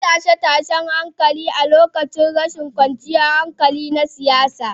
An yi tashe-tashen hankula a lokacin rashin kwanciyar hankali na siyasa.